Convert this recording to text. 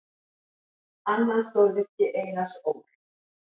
Annað stórvirki Einars Ól.